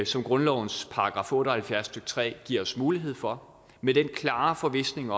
som grundlovens § otte og halvfjerds stykke tre giver os mulighed for med den klare forvisning